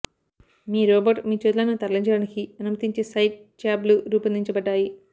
మీ robot మీ చేతులను తరలించడానికి అనుమతించే సైడ్ ట్యాబ్లు రూపొందించబడ్డాయి